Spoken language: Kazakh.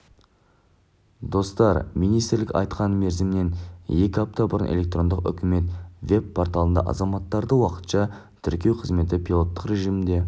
достар министрлік айтқан мерзімнен екі апта бұрын электрондық үкімет веб-порталында азаматтарды уақытша тіркеу қызметі пилоттық режімде